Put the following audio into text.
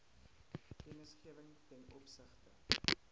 kennisgewing ten opsigte